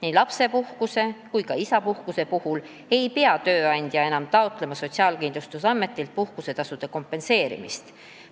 Ei lapsepuhkuse ega isapuhkuse puhul ei pea tööandja enam taotlema Sotsiaalkindlustusametilt puhkusetasu kompenseerimist.